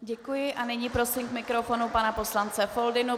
Děkuji a nyní prosím k mikrofonu pana poslance Foldynu.